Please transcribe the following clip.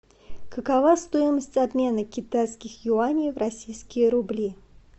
какова стоимость обмена китайских юаней в российские рубли